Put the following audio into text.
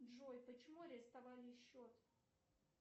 джой почему арестовали счет